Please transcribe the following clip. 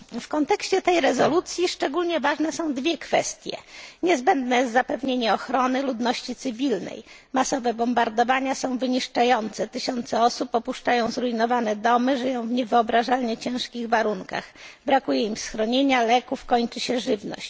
W kontekście tej rezolucji szczególnie ważne są dwie kwestie niezbędne jest zapewnienie ochrony ludności cywilnej masowe bombardowania są wyniszczające, tysiące osób opuszczają zrujnowane domy, żyją w niewyobrażalnie ciężkich warunkach, brakuje im schronienia, leków, kończy się żywność.